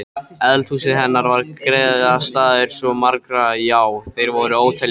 Eldhúsið hennar var griðastaður svo margra, já þeir voru óteljandi.